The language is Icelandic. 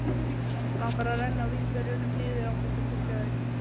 Langar að renna vínberjunum niður án þess að tyggja þau.